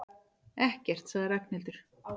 Ekkert sagði Ragnhildur.